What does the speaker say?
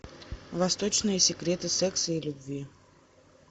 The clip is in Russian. восточные секреты секса и любви